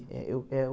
É o que eu...